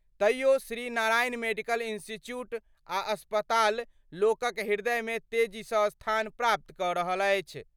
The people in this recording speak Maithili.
तइयो श्री नारायण मेडिकल इंस्टीट्यूट आ अस्पताल लोकक हृदय मे तेजी सँ स्थान प्राप्त क' रहल अछि।